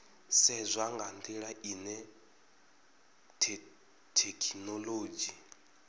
sedzwa nga ndila ine thekhinolodzhi